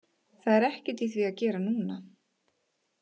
Það er ekkert í því að gera núna.